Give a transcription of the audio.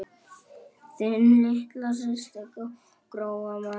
Þín litla systir, Gróa María.